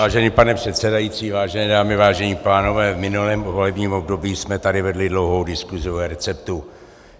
Vážený pane předsedající, vážené dámy, vážení pánové, v minulém volebním období jsme tady vedli dlouhou diskuzi o eReceptu.